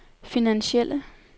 finansielle